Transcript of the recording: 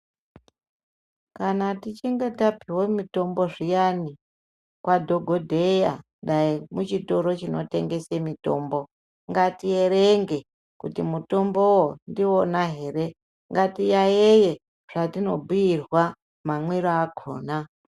Kana tichinge tapihwa mutombo zviyani kwa dhokodheya, dai muchitoro chinotengese mutombo ngati yerenge kuti mutombowo ndiwona here ngatiyayeye zvatinobhuyirwa mamwiro akona.